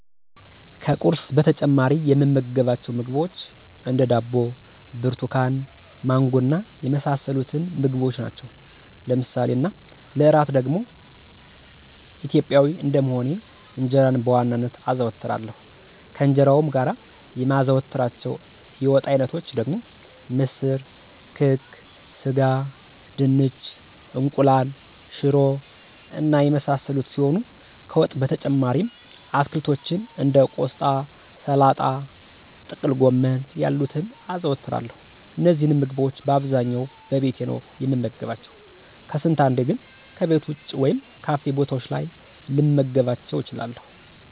ከቁርስ በተጨማሪ የምመገባቸው ምግቦች እንደ፦ ዳቦ፣ ብርቱካን፣ ማንጎ እና የመሳሰሉትን ምግቦች ናቸው። ለምሳ እና ለእራት ደግሞ ኢትዮጵያዊ እንደመሆኔ እንጀራን በዋናነት አዘወትራለሁ፤ ከእንጀራውም ጋር የማዘወትራቸው የወጥ አይነቶች ደግሞ ምስር፣ ክክ፣ ስጋ፣ ድንች፣ እንቁላል፣ ሽሮ እና የመሳሰሉት ሲሆኑ ከወጥ በተጨማሪም አትክልቶችን እንደ ቆስጣ፣ ሰላጣ፣ ጥቅልጎመን ያሉትን አዘወትራለሁ። እነዚህንም ምግቦች በአብዛኛው በቤቴ ነው የምመገባቸው፤ ከስንት አንዴ ግን ከቤት ወጭ ወይም ካፌ ቦታዎች ላይ ልመገባቸው እችላለሁ።